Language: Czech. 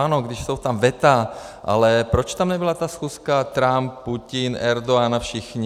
Ano, když jsou tam veta, ale proč tam nebyla ta schůzka, Trump, Putin, Erdogan a všichni?